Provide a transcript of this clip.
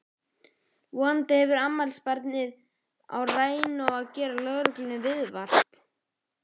Vonandi hefur afmælisbarnið rænu á að gera lögreglunni viðvart!